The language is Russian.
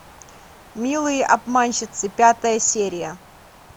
милые обманщицы пятая серия